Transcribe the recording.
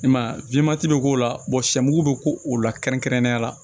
I m'a ye bɛ k'o la sɛ mugu be k'o la kɛrɛnkɛrɛnnenya la